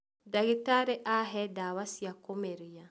Ndagĩtari ahe ndawa cĩa kũmeria